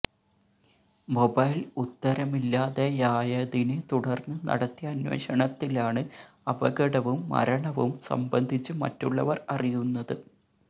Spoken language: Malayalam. മൊബൈൽ ഉത്തരമില്ലാതെയായതിനെ തുടർന്ന് നടത്തിയ അന്വേഷണത്തിലാണ് അപകടവും മരണവും സംബന്ധിച്ച് മറ്റുള്ളവർ അറിയു ന്നത്